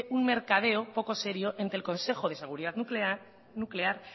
un mercadeo poco serio entre el consejo de seguridad nuclear